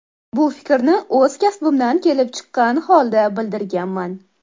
Bu fikrni o‘z kasbimdan kelib chiqqan holda bildirganman.